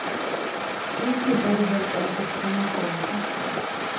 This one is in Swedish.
Hon flyttade helt enkelt hemifrån med katten.